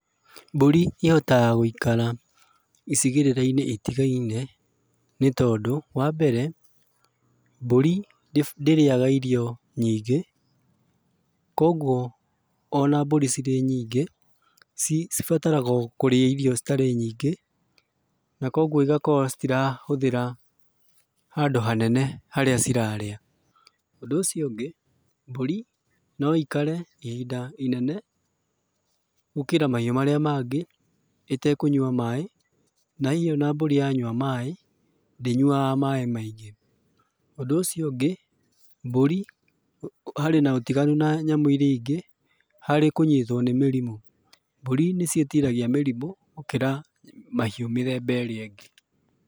Mbũri ĩhotaga gũikara icigĩrĩra-inĩ itigaine, nĩtondũ, wambere, mbũri ndĩrĩaga irio nyingĩ, kuoguo ona mbũri cirĩ nyingĩ, cibataraga o kũrĩa irio citarĩ nyingĩ, na kuoguo igakorwo citirahũthĩra handũ hanene harĩa cirarĩa. Ũndũ ũcio ũngĩ, mbũri no ikare ihinda inene, gũkĩra mahiũ marĩa mangĩ, ĩtekũnyua maĩ, na hihi ona mbũri yanyua maĩ, ndĩnyuaga maĩ maingĩ. Ũndũ ũcio ũngĩ, mbũri harĩ na ũtiganu na nyamũ iria ingĩ, harĩ kũnyitũo nĩ mĩrimũ. Mbũri nĩciĩtiragia mirĩmũ gũkĩra mahiũ mĩthemba ĩrĩa ĩngĩ.